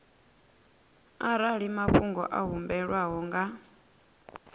arali mafhungo a humbelwaho nga